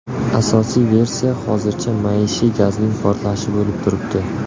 Asosiy versiya hozircha maishiy gazning portlashi bo‘lib turibdi.